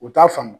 U t'a faamu